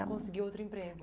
E conseguiu outro emprego?